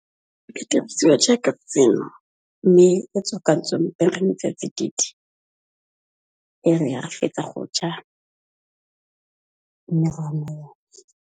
E dirisiwa jaaka tseno. Mme e tswakantsweng ka metsi a tsididi ya re ga re fetsa go ja mme .